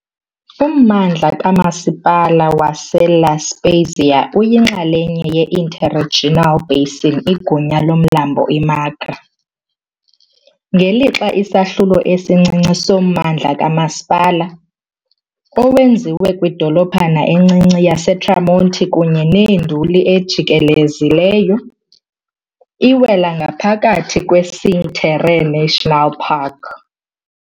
Ummandla kamasipala waseLa Spezia uyinxalenye ye- interregional basin igunya lomlambo i-Magra, ngelixa isahlulo esincinci sommandla kamasipala, owenziwe kwidolophana encinci yaseTramonti kunye nenduli ejikelezileyo, iwela ngaphakathi kweCinque Terre National Park.